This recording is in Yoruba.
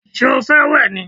Ṣé o fẹ́ wẹ̀ ni?